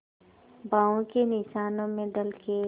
बाहों के निशानों में ढल के